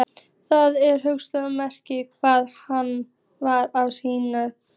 Það er hulið myrkri hvað hann var að sýsla.